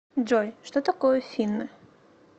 джой что такое финны